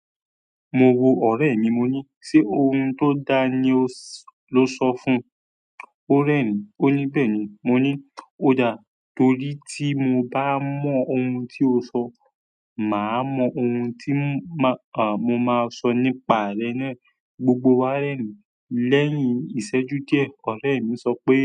Mo wò ọ̀rẹ́ mi, mo ní "ṣé ohun tó da ni o lo sọ fún un?" Ó rẹ́ mi, ó ní "bẹ́ẹ̀ni". Mo ní "ó da, torí tí mo bá mọ ohun tí o sọ, mà á mọ ohun tí mà á, mo máa sọ nípa rẹ̀ náà." Gbogbo wá rẹ́ mi. Lẹ́yìn ìṣẹ́jú díẹ̀, ọ̀rẹ́ mi sọ pé.